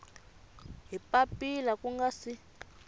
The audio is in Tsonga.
hi papila ku nga si